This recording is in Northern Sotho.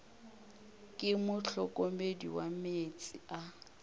ke mohlokomedi wa meetse a